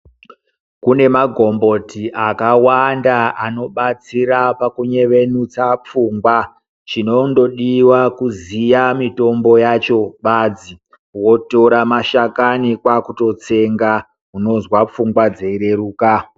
Kune magomboti akawanda anobatsira pakunyevenutsa pfungwa. Chinondodiwa kuziya mitombo yacho basi. Wotora mashakani kwaakutotsenga, unozwa pfungwa dzireruka.